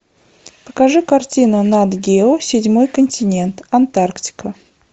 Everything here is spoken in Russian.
покажи картину нат гео седьмой континент антарктика